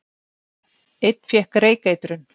Einn fékk reykeitrun